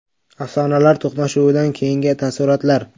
Afsonalar to‘qnashuvidan keyingi taassurotlar.